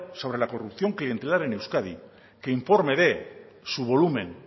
sobre la corrupción clientelar en euskadi que informe de su volumen